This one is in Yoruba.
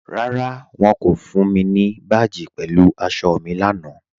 Rárá, wọ́n kò fún mi ni báàjì pẹ̀lú àṣọ̀ mi lánà.